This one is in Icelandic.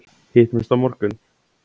Hittumst á morgun!